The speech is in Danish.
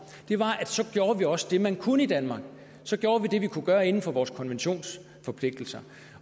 var at så gjorde vi også det man kunne i danmark så gjorde vi det vi kunne gøre inden for vores konventionsforpligtelser